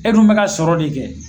E dun bɛ ka sɔrɔ de kɛ.